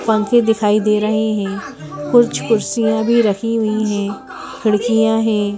पंखे दिखाई दे रहे हैं कुछ कुर्सियां भी रखी हुई हैं खिड़कियां हैं।